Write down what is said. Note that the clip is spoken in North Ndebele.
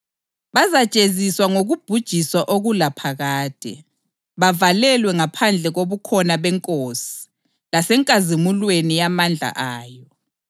alinike kanye lathi ukuhlaliseka lina elihlutshwayo. Lokhu kuzakwenzakala lapho iNkosi uJesu isibonakaliswa ezulwini phakathi komlilo ovuthayo ilezingilosi zayo ezilamandla.